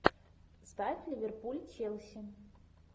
ставь ливерпуль челси